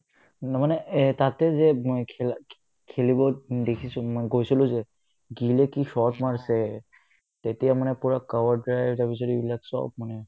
মই মানে এহ্ তাতে যে মই খেলা খে খেলিব দেখিছো মই গৈছিলো যে গিলে কি shot মাৰিছে তেতিয়া মানে পূৰা cover drive তাৰপিছত এইবিলাক চব মানে